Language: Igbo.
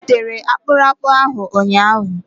O butere akpụrakpụ ahụ ụnyahụ.